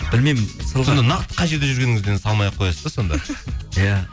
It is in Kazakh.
білмеймін нақты қай жерде жүргеніңізден салмай ақ қоясыз да сонда иә